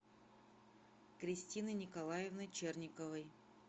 кристины николаевны черниковой